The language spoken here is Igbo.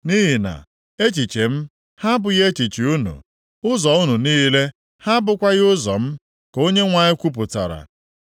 “Nʼihi na echiche m ha abụghị echiche unu, ụzọ unu niile, ha abụkwaghị ụzọ m,” ka Onyenwe anyị kwupụtara.